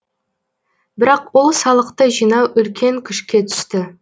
бірақ ол салықты жинау үлкен күшке түсті